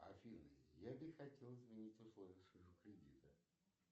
афина я бы хотел изменить условия своего кредита